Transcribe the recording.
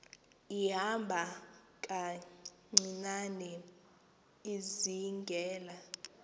ihamba kancinane izingela